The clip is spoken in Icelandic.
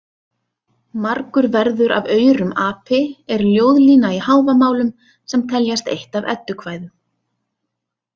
Margur verður af aurum api er ljóðlína í Hávamálum sem teljast eitt af Eddukvæðum.